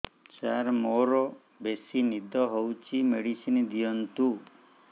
ସାର ମୋରୋ ବେସି ନିଦ ହଉଚି ମେଡିସିନ ଦିଅନ୍ତୁ